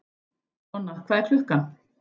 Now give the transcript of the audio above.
Donna, hvað er klukkan?